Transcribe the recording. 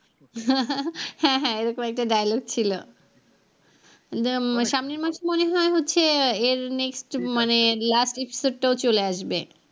হ্যাঁ হ্যাঁ এরকম একটা dialogue ছিল সাম্নের মাসে মনে হয় এর next মানে last episode টাও চলে আসবে।